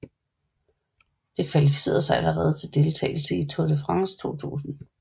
Det kvalificerede sig allerede til deltagelse i Tour de France 2000